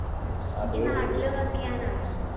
ഏർ നിക്ക് നാട്ടില് work ചെയ്യാനാണോ